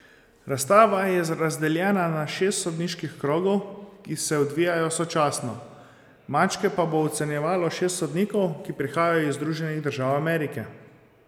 Razstava je razdeljena na šest sodniških krogov, ki se odvijajo sočasno, mačke pa bo ocenjevalo šest sodnikov, ki prihajajo iz Združenih držav Amerike.